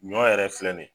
Ɲɔ yɛrɛ filɛ nin ye